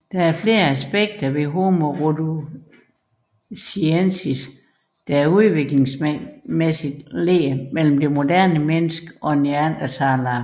Der er flere aspekter ved Homo rhodesiensis der udviklingsmæssigt ligger mellem det moderne menneske og neandertalere